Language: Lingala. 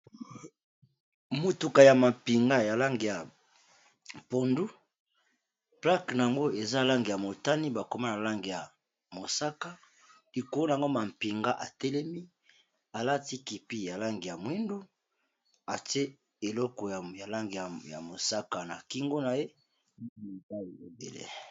Mutuka ya mapinga ya langi ya pondu plaque yango eza langi ya motani bakoma na langi ya mosaka likolo na yango mapinga atelemi alati kipi ya lange ya mwindu ate eleko ya lange ya mosaka na kingo na ye mobai ebele.